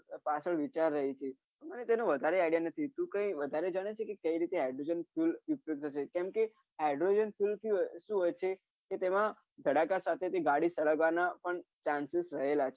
પાછા વિચાર હોય છે મને તેનો વધાર idea નથી તું કઈ વધારે જાણે છે કે કઈ રીતે hydrogen fuel ઉપયોગ કેમકે hydrogen fuel શું હોય કે તેમાં ધડાકા સાથે સળગવાના પણ છે